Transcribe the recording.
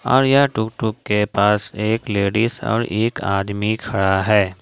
और यह tuk tuk के पास एक लेडीज और एक आदमी खड़ा है।